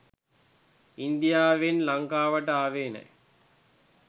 ඉන්දියාවෙන් ලංකාවට ආවේ නෑ.